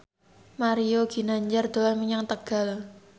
Mario Ginanjar dolan menyang Tegal